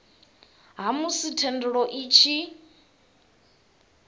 ha musi thendelo i tshi